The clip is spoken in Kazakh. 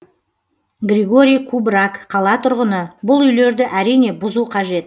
григорий кубраг қала тұрғыны бұл үйлерді әрине бұзу қажет